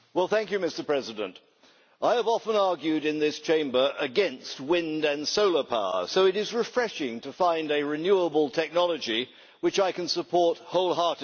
Mr President, I have often argued in this Chamber against wind and solar power, so it is refreshing to find a renewable technology which I can support wholeheartedly.